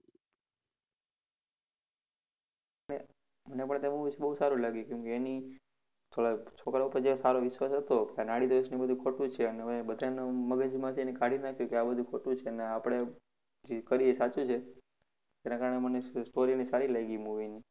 મને તો તે બૌ બૌ સારું લાગ્યું કેમકે એની થોડાક છોકરા પર જે સારો વિશ્વાસ હતો કે નાડીદોષને ઈ બધું ખોટું છે અને બધાના મગજમાંથી એને કાઢી જ નાખ્યું કે આ બધું ખોટું છેને આપડે જે કરીએ ઈ સાચું છે. એના કારણે મને sto~ story સારી લાગી movie ની